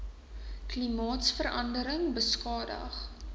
klimaatsverande ring beskadig